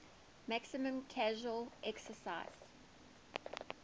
maximum casual excise